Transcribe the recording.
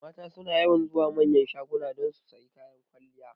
Mata suna yawan zuwa manyan shagunan don su sayi kayan kwalliya